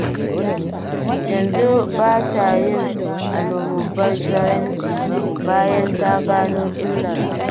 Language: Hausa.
Yanzu ba ta yin almubazzaranci, bayan ta gano illar hakan.